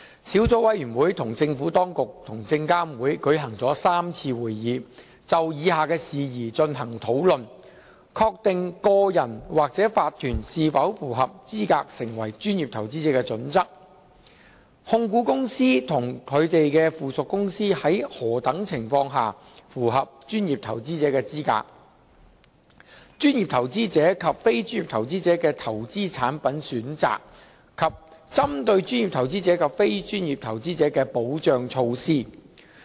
小組委員會與政府當局及證監會舉行了3次會議，就以下事宜進行討論： a 確定個人或法團是否符合資格成為專業投資者的準則； b 控股公司及他們的附屬公司在何等情況下符合專業投資者的資格； c 專業投資者及非專業投資者的投資產品選擇；及 d 針對專業投資者及非專業投資者的保障措施。